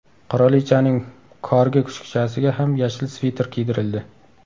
Qirolichaning korgi kuchukchasiga ham yashil sviter kiydirildi.